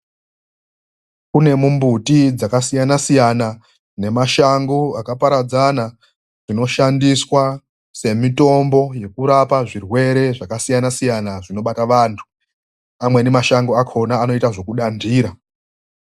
Kunemumbuti dzakasiyana siyana nemashango akaparadzana dzinoshandiswa semitombo yekurapa zvirwere zvakasiyana siyana zvinobata vandu, amweni mashango anoita zvekudandira